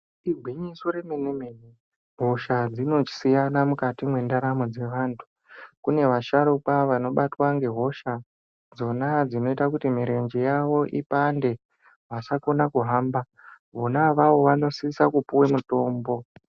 Igwinyiso remene mene, hosha dzinosiyana mukati mwendaramo dzevantu kune vasharukwa vanobatwa ngehosha dzona dzinoita kuti mirenje yavo ipande vasakona kuhamba vona avavo vanosisa kupuwe mutombo.